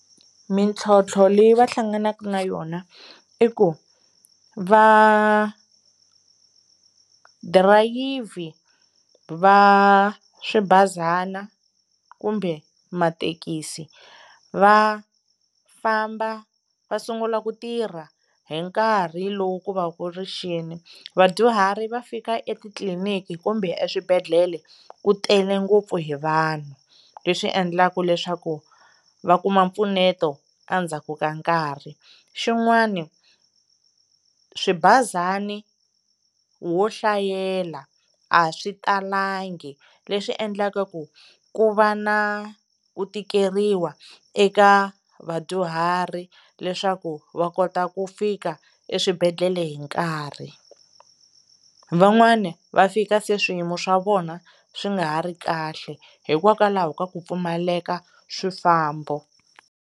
Mintlhotlho leyi va hlanganaka na yona i ku va dirayivhi va swibazana kumbe mathekisi va famba va sungula ku tirha hi nkarhi lowu ku va ku ri xini, vadyuhari va fika etitliliniki kumbe eswibedhlele ku tele ngopfu hi vanhu leswi endlaka leswaku va kuma mpfuneto endzhaku ka nkarhi, xin'wana swibazana ho hlayela a swi talanga, leswi endlaka ku ku va na ku tikeriwa eka vadyuhari leswaku va kota ku fika eswibedhlele hi nkarhi. Van'wana va fika se swiyimo swa vona swi nga ha ri kahle hikokwalaho ka ku pfumaleka swifambo.